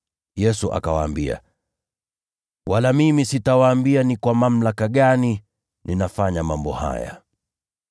Yesu akawaambia, “Wala mimi sitawaambia ni kwa mamlaka gani ninatenda mambo haya.”